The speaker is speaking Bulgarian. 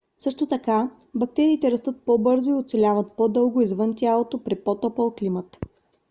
също така бактериите растат по - бързо и оцеляват по - дълго извън тялото при по - топъл климат